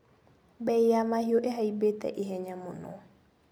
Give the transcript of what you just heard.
Mbei ya mahiũ ihaimbĩte ihenya mũno.